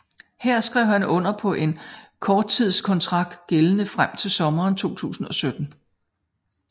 Her skrev han under på en korttidskontrakt gældende frem til sommeren 2017